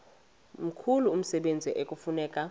mkhulu umsebenzi ekufuneka